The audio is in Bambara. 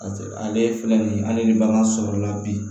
Ale filɛ nin ye ale ni bagan sɔrɔla bi